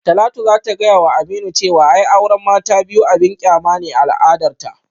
Talatu za ta gayawa Aminu cewa ai auran mata ta biyu abin kyama ne a al'adarta